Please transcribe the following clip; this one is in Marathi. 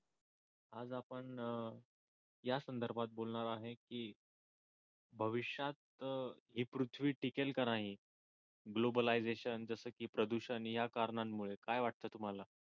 आपण आज या संदर्भात बोलणार आहे की भविष्यात ही पृथ्वी टिकेल की नाही ग्लोबलाईझशन जस की प्रदूषण या कारणांमुळे काय वाटत तुम्हाला?